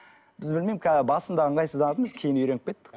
біз білмеймін қазір басында ыңғайсызданатынбыз кейін үйреніп кеттік